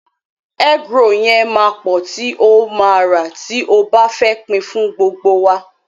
Egg roll yẹn máa pọ̀ tí o ma rà tí o bá fẹ́ pin fún gbogbo wa.